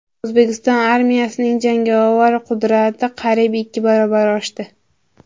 O‘zbekiston armiyasining jangovar qudrati qariyb ikki barobar oshdi.